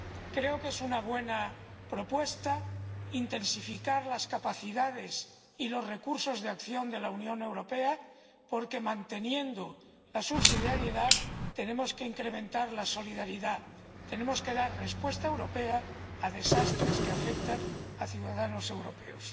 Creo que es una buena propuesta intensificar las capacidades y los recursos de acción de la Unión Europea, porque a la vez que mantenemos la subsidiariedad tenemos que incrementar la solidaridad. Tenemos que dar respuesta europea a catástrofes que afectan a ciudadanos europeos.